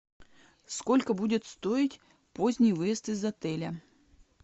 сколько будет стоить поздний выезд из отеля